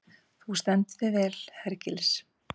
Þú stendur þig vel, Hergils!